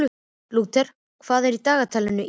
Lúther, hvað er í dagatalinu í dag?